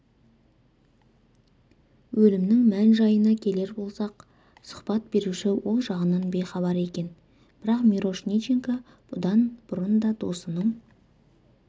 өлімнің мән-жайына келер болсақ сұхбат беруші ол жағынан бейхабар екен бірақ мирошниченко бұдан бұрын да досының